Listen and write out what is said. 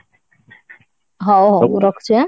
ହଉ ହଉ ମୁଁ ରଖୁଛି ହାଁ